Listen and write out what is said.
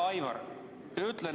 Hea Aivar!